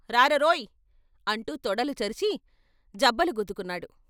రారరోయ్ "అంటూ తొడలు చరిచి, జబ్బలు గుద్దుకున్నారు.